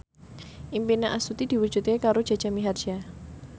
impine Astuti diwujudke karo Jaja Mihardja